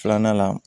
Filanan la